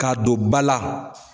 K'a don ba la.